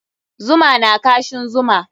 Zuma na kashin zuma.